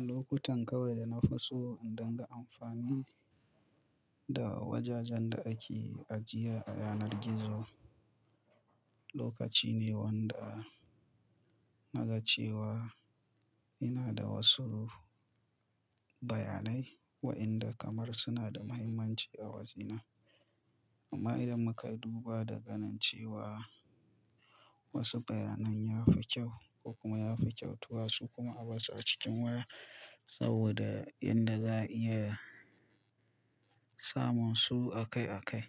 Lokutan kawai dana fi so in dunga amfani da wajajen da ake ajiye a yanar gizo. Lokaci ne wanda na ga cewa yana da wasu bayanai waɗanda kamar suna da muhimmanci a wajena. Amma idan muka duba da ganin cewa wasu bayanan ya fi kyau ko kuma ya fi kyautu wasu kuma a bar su a cikin waya saboda yadda za'a iya samun su a kai a kai.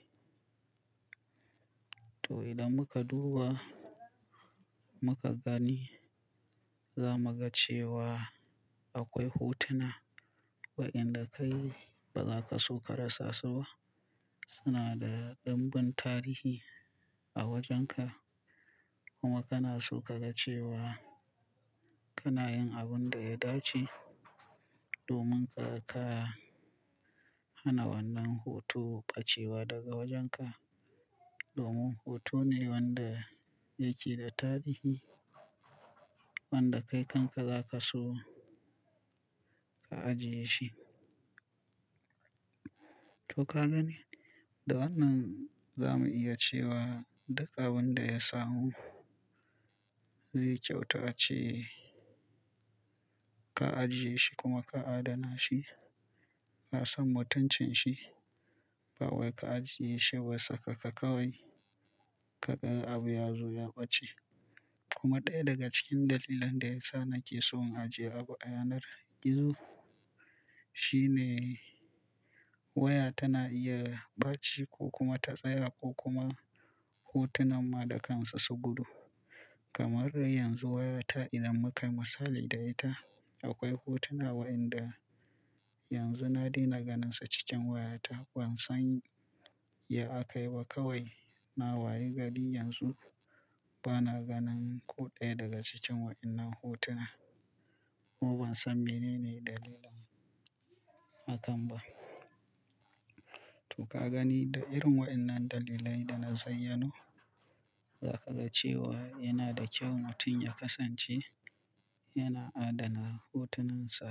To idan muka duba muka gani za mu ga cewa akwai hotuna waɗanda kai ba za ka so ka rasa su ba. Suna da damben tarihi a wajenka kuma kana so ka ga cewa kana yin abin da ya dace domin ka, ka hana wannan hoto pacewa daga wajenka. Domin hoto ne wanda yake da tarihi wanda kai kanka za ka so ka ajiye shi. To ka gani da wannan za mu iya cewa duk abin da ya samu zai kyauta ace ka ajiye shi kuma ka adana shi. Ka san mutuncin shi kawai ka ajiye shi wasaka ka kawai ka ga abu ya zo ya ɓace. Kuma ɗaya daga cikin dalilan da yasa nake so in ajiye abu a yanar gizo shine waya tana iya ɓaci ko kuma ta tsaya ko kuma hotunan ma da kansu su gudu. Kamar yanzu wayata idan muka yi matsali da ita akwai hotuna waɗanda yanzu na daina ganinsa cikin wayata ban san ya akayi ba kawai na waye gari yanzu bana ganin ko ɗaya daga cikin waɗannan hotuna. Kuma ban san menene dalilin akan ba. To ka gani da irin waɗannan dalilai da na zayyanu za ka ga cewa yana da kyau mutum ya kasance yana adana hotoninsa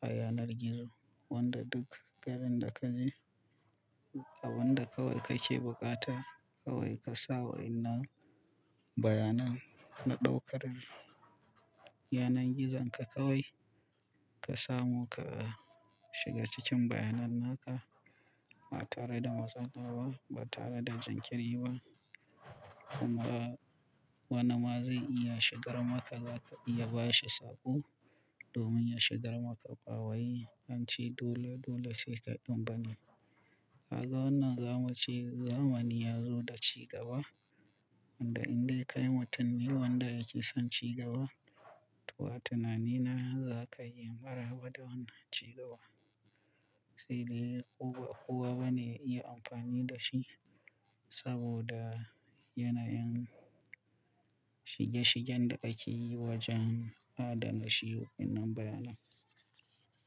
a yanar gizo. Wanda duk garin da ka je abun da kawai kake bukata kawai ka sa waɗannan bayanan na ɗaukar yanar gizon ka kawai ka samu ka shiga cikin bayanan naka ba tare da matsala ba ba tare da jinkiri ba. Kuma wane ma zai iya shigar maka za ka iya ba shi sako domin ya shigar maka kawai hanci dole dole sai ka ɗumbane. Kaga wannan zamu ci zamani ya zo da cigaba wanda in dai kai mutum ne wanda yake son cigaba to a tunanina za ka yi maraba da wannan cigaba. Sedai kowa ba ne iya amfani da shi saboda yanayin shige shigen da ake yi wajen adana shi waɗannan bayanan.